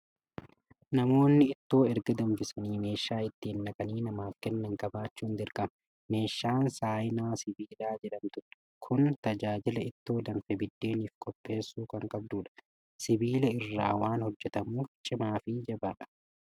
Namoonni ittoo erga danfisanii meeshaa itti naqanii namaaf kennan qabaachun dirqama. Meeshaan saayinaa sibiilaa jedhamtu kun tajaajila ittoo danfe biddeeniif qopheessuu kan qabdudha. Sibiila irraa waan hojjetamuuf cimaa fi jabaadha.